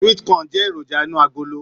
Sweet corn jẹ èròjà inú agolo.